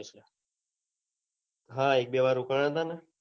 હા એક બે વાર રોકાના હતા ને